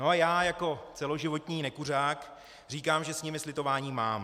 No a já jako celoživotní nekuřák říkám, že s nimi slitování mám.